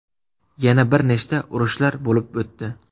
Yana bir nechta urushlar bo‘lib o‘tdi.